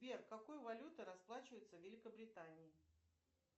сбер какой валютой расплачиваются в великобритании